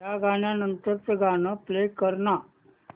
या गाण्या नंतरचं गाणं प्ले कर ना